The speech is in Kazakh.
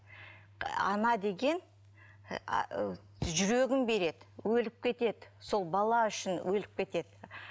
ана деген ыыы жүрегін береді өліп кетеді сол бала үшін өліп кетеді